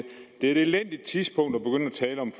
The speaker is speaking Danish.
tale om